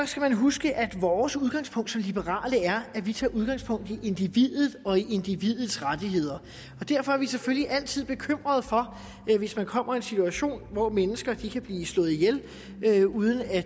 skal man huske at vores udgangspunkt som liberale er at vi tager udgangspunkt i individet og i individets rettigheder derfor er vi selvfølgelig altid bekymrede hvis man kommer en situation hvor mennesker kan blive slået ihjel uden at